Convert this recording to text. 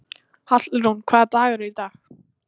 Hallrún, hvaða dagur er í dag?